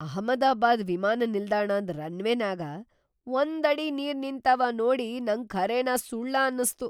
ಅಹಮದಾಬಾದ್ ವಿಮಾನ ನಿಲ್ದಾಣದಾನ್ ರನ್ವೇನ್ಯಾಗ ಒಂದ್ ಅಡಿ ನೀರ್‌ ನಿಂತಾವ ನೋಡಿ ನಂಗ ಖರೇನ ಸುಳ್ಳ ಅನಸ್ತು.